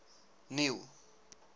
neil